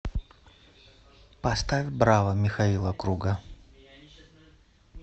поставь браво михаила круга